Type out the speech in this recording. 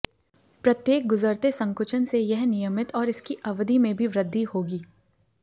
प्रत्येक गुज़रते संकुचन से यह नियमित और इसकी अवधि में भी वृद्धि होगी